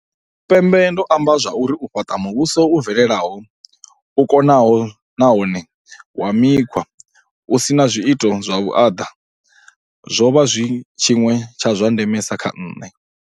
Tshipembe, ndo amba zwa uri u fhaṱa mu vhuso u bvelelaho, u ko naho nahone wa mikhwa u si na zwiito zwa vhuaḓa zwo vha zwi tshiṅwe tsha zwa ndemesa kha nṋe.